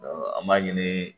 an b'a ɲini